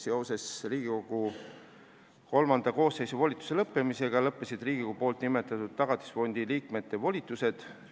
Seoses Riigikogu XIII koosseisu volituse lõppemisega lõppesid Riigikogu nimetatud Tagatisfondi liikmete volitused.